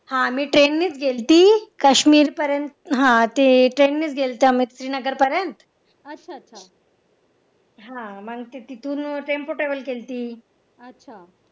हा मी ट्रेननेच गेलती काश्मीर पर्यंत हा ते ट्रेननेच गेलेते आम्ही श्रीनगर पर्यंत हा मग ते तिथं तिथून travel केलती